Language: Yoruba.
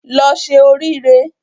Lọ se orí re